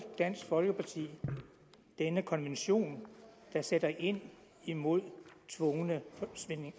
dansk folkeparti denne konvention der sætter ind imod tvungne